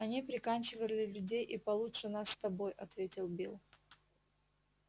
они приканчивали людей и получше нас с тобой ответил билл